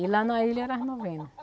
E lá na ilha era as novena.